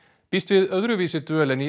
býst við öðruvísi dvöl en í